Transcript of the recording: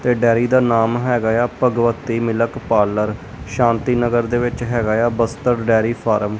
ਤੇ ਡੈਰੀ ਦਾ ਨਾਮ ਹੈਗਾ ਏ ਆ ਭਗਵਤੀ ਮਿਲਕ ਪਾਲਰ ਸ਼ਾਂਤੀ ਨਗਰ ਦੇ ਵਿੱਚ ਹੈਗਾ ਆ ਬਸਤਰ ਡੈਰੀ ਫਾਰਮ ।